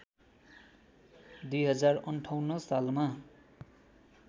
२०५८ सालमा